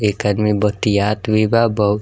एक आदमी बतयात भी बा बहु --